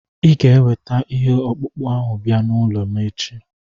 Ị ga-eweta ihe ọkpụkpụ ahụ bịa n'ụlọ m echi.